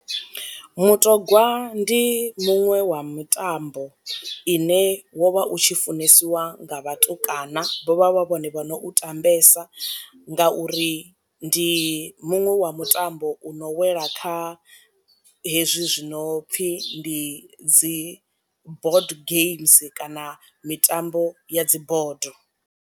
Mutogwa ndi muṅwe wa mitambo ine wo vha u tshi funesiwa nga vhatukana vho vha vha vhone vho no u tambesa nga uri ndi muṅwe wa mutambo u no wela kha hezwi zwino pfhi ndi dzi bod games kana mitambo ya dzi bodo.